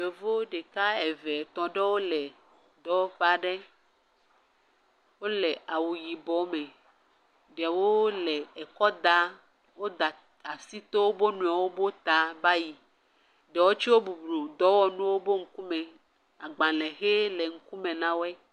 Yevu ɖeka, eve, etɔ̃ aɖewo le dɔwɔƒe aɖe, wole awu yibɔ me, ɖewo le kɔ daa, woda asi tɔ woƒe nuiwo ƒe ta va yi. Ɖewo tso bublu dɔwɔnuwo ƒe ŋkume. Agbalẽ xɛ le ŋkume na wo.